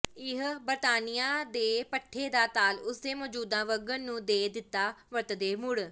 ਇਹ ਬਰਤਾਨੀਆ ਦੇ ਪੱਠੇ ਦਾ ਤਾਲ ਉਸ ਦੇ ਮੌਜੂਦਾ ਵਗਣ ਨੂੰ ਦੇ ਦਿੱਤਾ ਵਰਤਦੇ ਮੁੜ